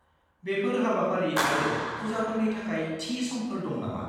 बेफोर हाबाफारि आरो पुजाफोरनि थाखाय थि समफोर दं नामा?